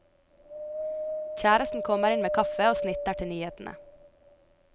Kjæresten kommer inn med kaffe og snitter til nyhetene.